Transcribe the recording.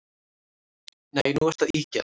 Nei, nú ertu að ýkja